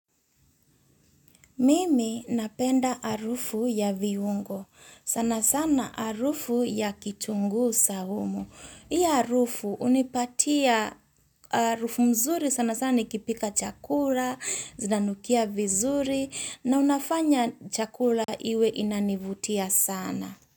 Mimi napenda arufu ya viungo. Sana sana harufu ya kitunguu saumu. Hii harufu unipatia harufu nzuri sana sana nikipika chakula, zinanukia vizuri na unafanya chakula hiwe inanivutia sana.